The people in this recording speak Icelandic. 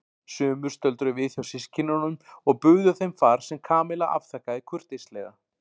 Sumir stöldruðu við hjá systkinunum og buðu þeim far sem Kamilla afþakkaði kurteislega.